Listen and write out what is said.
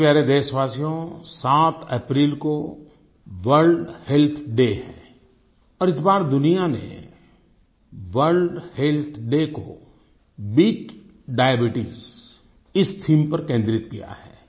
मेरे प्यारे देशवासियो 7 अप्रैल को वर्ल्ड हेल्थ डे है और इस बार दुनिया ने वर्ल्ड हेल्थ डे को बीट डायबीट्स इस थीम पर केन्द्रित किया है